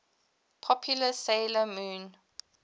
popular 'sailor moon